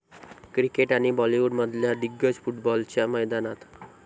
cricket आणि बॉलीवुडमधल्या दिग्गज फुटबॉलच्या मैदानात